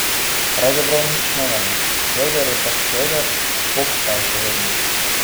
Pravzaprav nič novega, Kevder je pač kevder, Pok pa je še vedno.